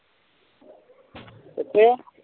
ਕਿਥੇ